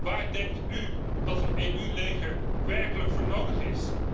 Waar denkt u dat een EU leger werkelijk voor nodig is?